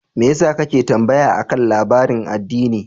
Me yasa kake tambaya akan labarin addini?